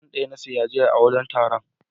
Fan ɗaya na siya jiya a wajen taron.